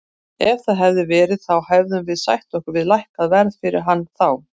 Ef það hefði verið þá hefðum við sætt okkur við lækkað verð fyrir hann þá.